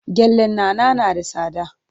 Gyallen Nana na da tsada.